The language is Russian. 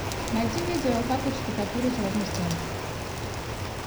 найти видео как отштукатурить ровно стены